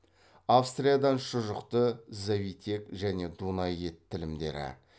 австриядан шұжықты завитек және дунай ет тілімдері